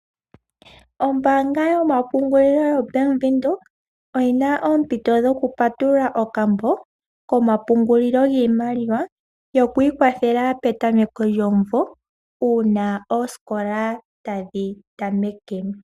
Ombaanga yo mapungulilo yoBank Windhoek oyina oompito dhoku patulula okambo koma pungulilo giimaliwa yo kwiikwathela petameko lyomuvo uuna oosikola tadhi tameke.